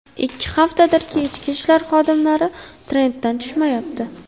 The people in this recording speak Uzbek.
Ikki haftadirki, Ichki ishlar xodimlari trenddan tushmayapti.